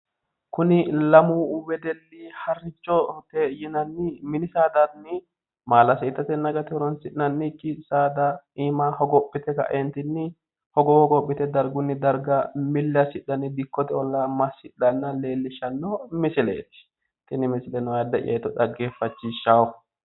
Kuni lamu wedelli harrichote yinanni mini saadanni maalase itatenna agate horonsi'nannikki saada iima hogophite ka'entunni hogowo hogophite dargunni darga milli assidhanni dikkote ollaa massidhanna leellishshanno misileeti tini misileno ayiidde'ya hiitto dhaggeeffachishshaawo